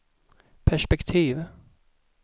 perspektiv